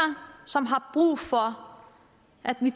som har brug for at vi